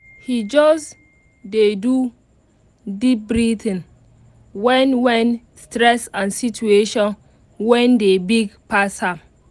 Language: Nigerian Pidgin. he just dey do deep breathing when when stress and situation wan dey big pass am